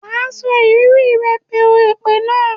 Wà sọ ìrírí re pèú èpè náà.